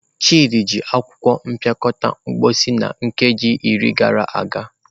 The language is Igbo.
Chidi ji akwụkwọ mpịakọta mposi na nkeji iri gara aga.